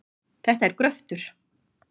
Þetta er gröftur.